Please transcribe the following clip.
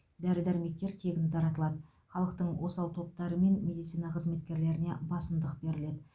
дәрі дәрмектер тегін таратылады халықтың осал топтары мен медицина қызметкерлеріне басымдық беріледі